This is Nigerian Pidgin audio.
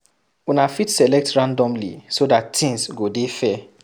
Una fit select randomly so dat things go dey fair